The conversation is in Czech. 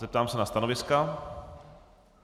Zeptám se na stanoviska.